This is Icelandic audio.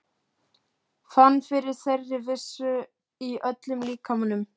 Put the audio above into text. Fann fyrir þeirri vissu í öllum líkamanum.